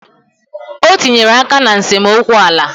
O tinyere aka na nsemokwu ala